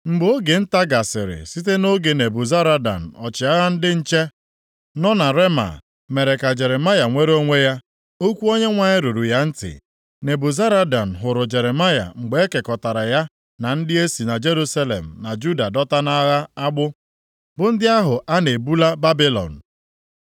Mgbe oge nta gasịrị site nʼoge Nebuzaradan ọchịagha ndị nche nọ na Rema mere ka Jeremaya nwere onwe ya, okwu Onyenwe anyị ruru ya ntị. Nebuzaradan hụrụ Jeremaya mgbe e kekọtara ya na ndị e si na Jerusalem na Juda dọta nʼagha agbụ, bụ ndị ahụ a na-ebula Babilọn.